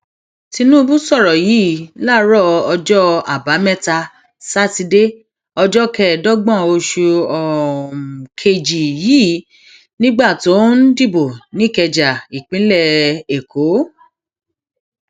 tinubu sọrọ yìí láàárọ ọjọ àbámẹta sátidé ọjọ kẹẹẹdọgbọn oṣù um kejì yìí nígbà tó ń um dìbò nìkẹja ìpínlẹ èkó